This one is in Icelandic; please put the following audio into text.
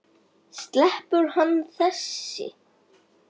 Sleppur hann þessi?